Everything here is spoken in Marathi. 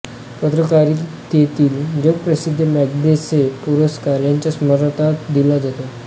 पत्रकारितेतील जगप्रसिद्ध मॅग्सेसे पुरस्कार याच्या स्मरणार्थ दिला जातो